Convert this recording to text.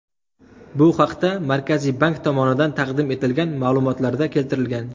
Bu haqda Markaziy bank tomonidan taqdim etilgan ma’lumotlarda keltirilgan .